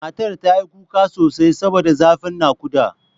Matar ta yi kuka sosai saboda zafin naƙuda.